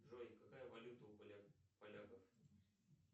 джой какая валюта у поляков